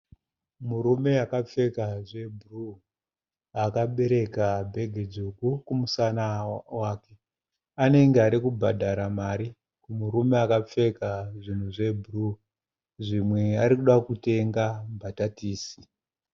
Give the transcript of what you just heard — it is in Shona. Murume akapfeka zvebhuruu akabereka bhegi dzvuku kumusana wake. Anenge arikubhadhara mari kumurume akapfeka zvinhu zvebhuruu. Zvimwe arikuda kutenga mbatatisi.